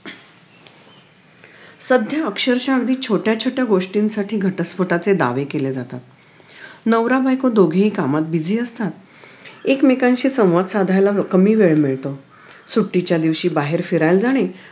सध्या अक्षरशा अगदी छोट्या छोट्या गोष्टीसाठी घटस्फोटाचे दावे केले जातात नवरा बायको दोघेही कामात busy असतात एक मेकांशी संवाद साधायला कमी वेळ मिळतो सुट्टीच्या दिवशी बाहेर फिरायला जाणे